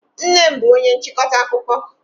Nnem bú onye nchịkọta akụkọ.